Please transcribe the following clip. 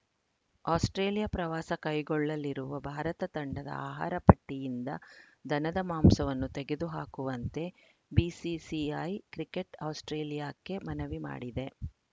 Australia ಪ್ರವಾಸ ಕೈಗೊಳ್ಳಲಿರುವ ಭಾರತ ತಂಡದ ಆಹಾರ ಪಟ್ಟಿಯಿಂದ ದನದ ಮಾಂಸವನ್ನು ತೆಗೆದು ಹಾಕುವಂತೆ ಬಿಸಿಸಿಐ ಕ್ರಿಕೆಟ್‌ ಆಸ್ಪ್ರೇಲಿಯಾಕ್ಕೆ ಮನವಿ ಮಾಡಿದೆ